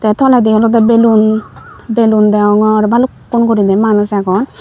te toledi olodeg balloon balloon degongor aro balukkun guriney manus agon.